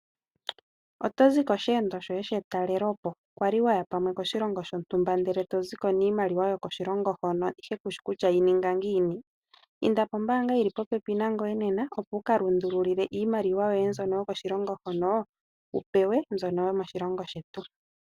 Otozi kosheendo shoye shetalelepo kwali waya pamwe koshilongo shontumba ndele toziko niimaliwa yokoshilongo hono ihe kushi kutya yininga ngiini? Inda pombaanga yili popepi nangoye nena opo wukalundululile iimaliwa yoye mbyono yokoshilongo hono wupewe mbyono yomoshilongo shetu.